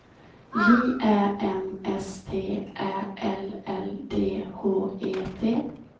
J Ä M S T Ä L L D H E T